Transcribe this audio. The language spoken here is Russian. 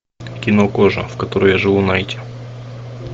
кино кожа в которой я живу найти